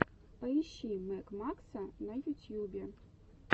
поищи мэг макса на ютьюбе